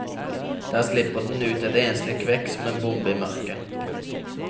Der slipper den ut et enslig kvekk som en bombe i mørket.